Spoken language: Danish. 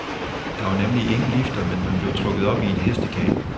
Der var nemlig ingen lifter, men man blev trukket op i en hestekane.